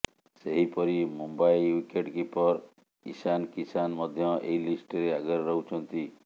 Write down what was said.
ସେହିପରି Mumbai wicket keeper Ishan Kishan ମଧ୍ୟ ଏହି ଲିଷ୍ଟରେ ଆଗରେ ରହୁଛନ୍ତି